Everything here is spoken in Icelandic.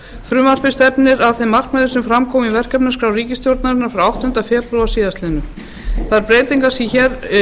frumvarpið stefnir að þeim markmiðum sem fram komu í verkefnaskrá ríkisstjórnarinnar frá áttunda febrúar síðastliðinn þær breytingar sem hér